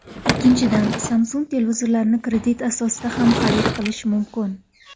Ikkinchidan, Samsung televizorlarini kredit asosida ham xarid qilish mumkin.